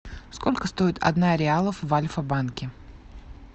сколько стоит одна реалов в альфа банке